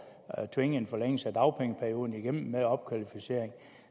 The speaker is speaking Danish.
at tvinge en forlængelse af dagpengeperioden igennem med opkvalificering